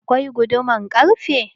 Akwai guduman ƙarfe.